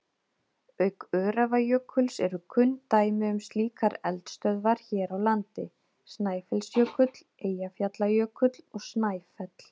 Auk Öræfajökuls eru kunn dæmi um slíkar eldstöðvar hér á landi Snæfellsjökull, Eyjafjallajökull og Snæfell.